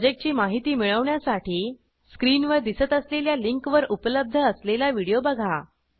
प्रॉजेक्टची माहिती मिळवण्यासाठी स्क्रीनवर दिसत असलेल्या लिंकवर उपलब्ध असलेला व्हिडिओ बघा